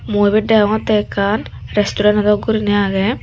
mui ibot degongttey ekkan restureno dok guriney agey.